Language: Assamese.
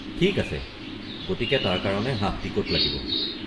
ঠিক আছে, গতিকে তাৰ কাৰণে হাফ টিকট লাগিব।